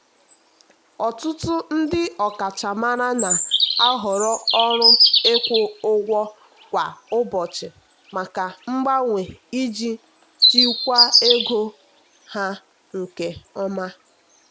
ọtụtụ ndị ọkachamara na-ahọrọ ọrụ ịkwụ ụgwọ kwa ụbọchị maka mgbanwe iji jikwaa ego ha nke ọma.